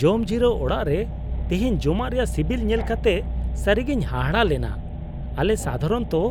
ᱡᱚᱢᱡᱤᱨᱟᱹᱣ ᱚᱲᱟᱜ ᱨᱮ ᱛᱤᱦᱤᱧ ᱡᱚᱢᱟᱜ ᱨᱮᱭᱟᱜ ᱥᱤᱵᱤᱞ ᱧᱮᱞ ᱠᱟᱛᱮ ᱥᱟᱹᱨᱤᱜᱤᱧ ᱦᱟᱦᱟᱲᱟᱜ ᱞᱮᱱᱟ ᱾ᱟᱞᱮ ᱥᱟᱫᱷᱟᱨᱚᱱᱚᱛᱚ